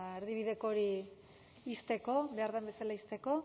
erdibideko hori ixteko behar den bezala ixteko